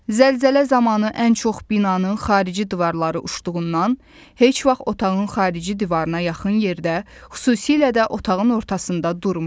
Zəlzələ zamanı ən çox binanın xarici divarları uçduğundan heç vaxt otağın xarici divarına yaxın yerdə, xüsusilə də otağın ortasında durmayın.